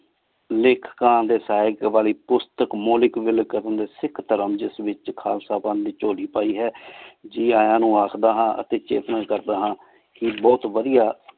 ਲਿਖ ਸਿਖ ਧਰਮ ਜਿਸ ਵਿਚ ਖਾਲਸਾ ਪਾਨ ਦੀ ਝੋਲੀ ਪੈ ਹੈ ਗੀ ਯਾ ਨੂ ਆਖਦਾ ਹਾਂ ਇਹ ਬੋਹਤ ਵਾਦਿਯ